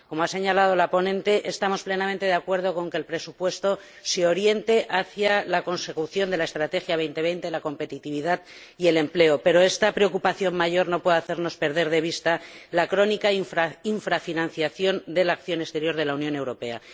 Como ha señalado la ponente, estamos plenamente de acuerdo con que el presupuesto se oriente hacia la consecución de la Estrategia 2020, la competitividad y el empleo, pero esta preocupación mayor no puede hacernos perder de vista la crónica infrafinanciación de la acción exterior de la Unión Europea.